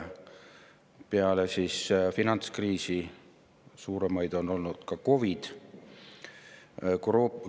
Peale finantskriisi on suurimaid olnud COVID‑i kriis.